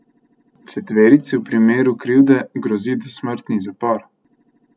Četverici v primeru krivde grozi dosmrtni zapor.